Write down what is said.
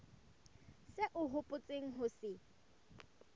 seo o hopotseng ho se